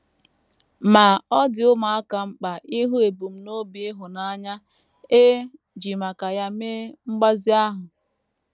Ma, ọ dị ụmụaka mkpa ịhụ ebumnobi ịhụnanya e ji maka ya mee mgbazi ahụ.